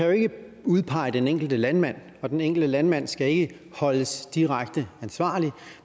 jo ikke kan udpege den enkelte landmand og den enkelte landmand skal ikke holdes direkte ansvarlig